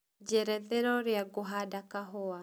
njerethera ũrĩa ngũhanda kahũa